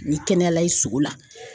N'i kɛnɛya la i sogo la